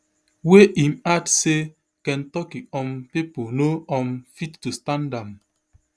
wey im add say kentucky um pipo no um fit to stand am